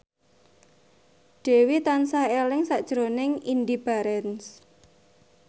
Dewi tansah eling sakjroning Indy Barens